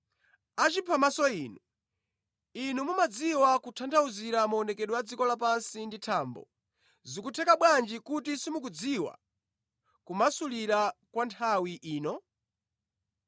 Achiphamaso inu! Inu mumadziwa kutanthauzira maonekedwe a dziko lapansi ndi thambo. Zikutheka bwanji kuti simukudziwa kumasulira kwa nthawi ino?